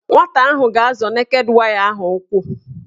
Nwata ahụ ga-azọ neked waya ahụ ụkwụ